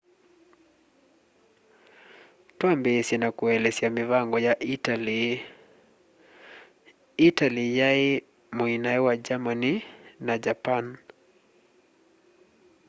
twambiisye na kuelesya mivango ya italy italy yai muinae wa germany na japan